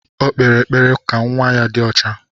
O kpere ekpere ka nwa ya dị ọcha.